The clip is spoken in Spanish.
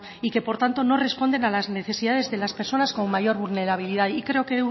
y que por tanto no responden a las necesidades de las personas con mayor vulnerabilidad y creo que